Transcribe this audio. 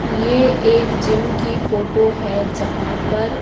ये एक जिम की फोटो है जहां पर--